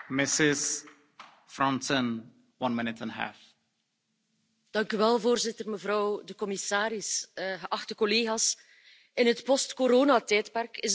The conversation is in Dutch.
Voorzitter, mevrouw de commissaris, geachte collega's, in het post coronatijdperk is het van groot belang dat we vrouwen aan boord houden, zowel letterlijk als figuurlijk.